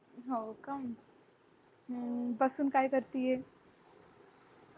हो का अं बसून काय करतीये